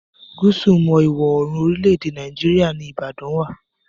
Gúsù mọ́ Ìwọ̀-oòrùn orílẹ̀-èdè Nàìjíríà ní Ìbàdà wà.